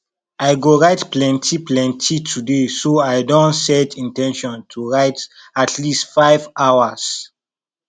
i go write plenty plenty today so i don set in ten tion to write at least five hours